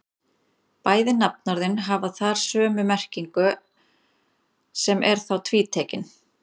Bæði nafnorðin hafa þar sömu merkingu sem er þá tvítekin.